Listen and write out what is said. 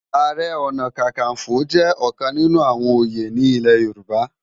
Àárè òná kàkánfó jè òkán ninú áwòn óyé nilé Yoruba